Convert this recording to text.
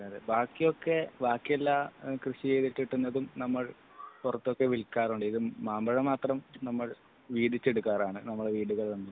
ബാക്കിയൊക്കെ ബാക്കിയെല്ലാം കൃഷി ചെയ്തിട്ട് കിട്ടുന്നതും നമ്മൾ പുറത്തൊക്കെ വിക്കാറുണ്ട് ഇത് മാമ്പഴം മാത്രം വീതിച്ചെടുക്കാറാണ് നമ്മളെ വീടുകളിൽ